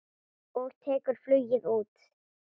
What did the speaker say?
Og tekur flugið út.